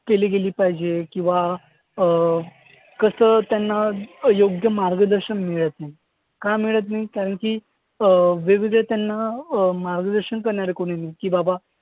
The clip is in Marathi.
केली गेली पाहिजे. किंवा अं कसं त्यांना अं योग्य मार्गदर्शन मिळत नाही. का मिळत नाही? कारण की अं वेगवेगळे त्यांना अं मार्गदर्शन करणारे कोणी नाही की बाबा